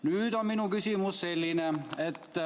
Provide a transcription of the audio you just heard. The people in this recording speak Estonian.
" Nüüd on minu küsimus selline.